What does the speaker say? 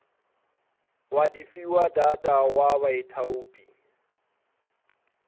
wa difiwa data wa baithaupi